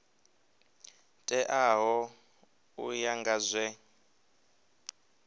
teaho u ya nga zwe